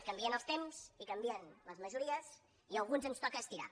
canvien els temps i canvien les majories i a alguns ens toca es·tirar